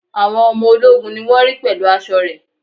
Àwọn ọmọ ológun ni wón ri pẹ̀lú aṣọ re